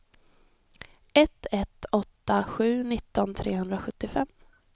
ett ett åtta sju nitton trehundrasjuttiofem